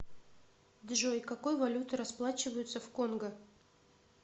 джой какой валютой расплачиваются в конго